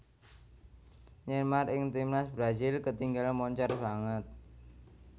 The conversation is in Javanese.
Neymar ing Timnas Brasil ketingal moncer sanget